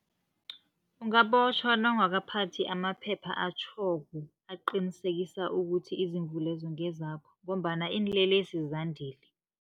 Ungabotjhwa nawungakaphathi amaphepha atjhoko, aqinisekisa ukuthi izimvu lezo ngezakho, ngombana iinlelesi zandile.